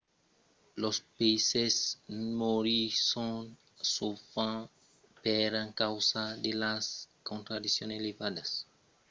los peisses morisson sovent per encausa de las concentracions elevadas de toxina dins las aigas